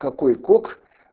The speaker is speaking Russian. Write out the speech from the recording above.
какой кок